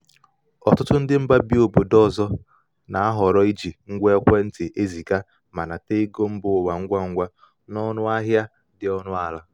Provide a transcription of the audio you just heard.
ọtụtụ ndị mba bi obodo ọzọ na-ahọrọ iji ngwa ekwentị eziga ma nata ego mba ụwa ngwa ngwa na ọnụ ahịa dị ọnụ ala.